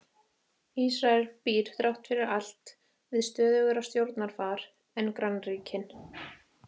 Ísrael býr þrátt fyrir allt við stöðugra stjórnarfar en grannríkin.